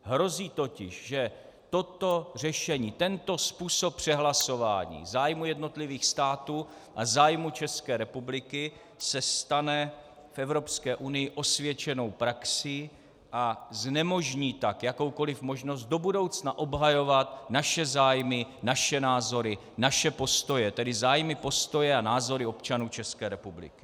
Hrozí totiž, že toto řešení, tento způsob přehlasování zájmu jednotlivých států a zájmu České republiky se stane v Evropské unii osvědčenou praxí a znemožní tak jakoukoliv možnost do budoucna obhajovat naše zájmy, naše názory, naše postoje, tedy zájmy, postoje a názory občanů České republiky.